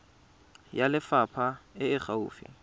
ya lefapha e e gaufi